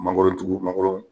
Mangoro tugu mangoro